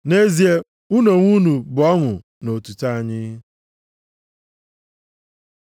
Nʼezie, unu onwe unu bụ ọṅụ na otuto anyị.